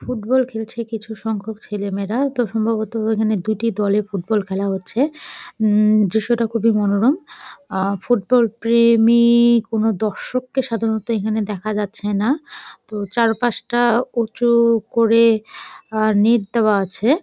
Football খেলছে কিছু সংখ্যক ছেলে মেয়েরা। তো সম্ভবত এখানে দুটি দলে ফুটবল খেলা হচ্ছে উম দৃশ্যটা খুবই মনোরম। আহ ফুটবল প্রে-ই-মী-ই কোন দর্শককে সধারণত এখানে দেখা যাচ্ছে না প্রো চারপাশটা উচু করে আহ নেট দেওয়া আছে-এ ।